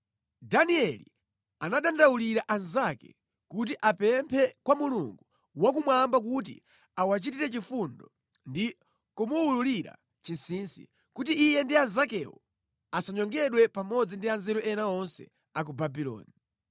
Danieli anadandaulira anzake kuti apemphe kwa Mulungu wakumwamba kuti awachitire chifundo ndi kumuwululira chinsinsi, kuti iye ndi anzakewo asanyongedwe pamodzi ndi anzeru ena onse a ku Babuloni.